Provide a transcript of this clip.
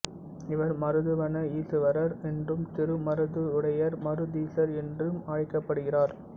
இவர் மருதவன ஈசுவரர் என்றும் திருமருதுடையூர் மருதீசர் என்றும் அழைக்கப்படுகிறார்